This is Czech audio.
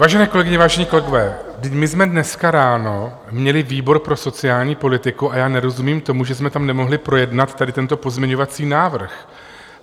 Vážené kolegyně, vážení kolegové, my jsme dneska ráno měli výbor pro sociální politiku a já nerozumím tomu, že jsme tam nemohli projednat tady tento pozměňovací návrh.